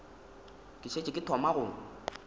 ke šetše ke thoma go